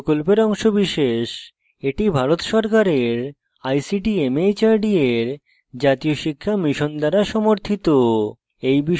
এটি ভারত সরকারের ict mhrd এর জাতীয় শিক্ষা mission দ্বারা সমর্থিত